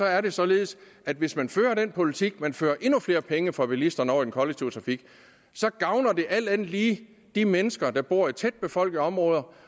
er det således at hvis man fører den politik at man fører endnu flere penge fra bilisterne over i den kollektive trafik så gavner det alt andet lige de mennesker der bor i tætbefolkede områder